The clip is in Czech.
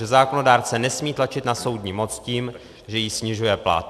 Že zákonodárce nesmí tlačit na soudní moc tím, že jí snižuje plat.